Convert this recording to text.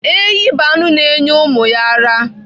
Ehi bụ anụ na-enye ụmụ ya ara.